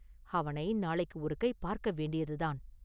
அவனை நாளைக்கு ஒரு கை பார்க்க வேண்டியதுதான்.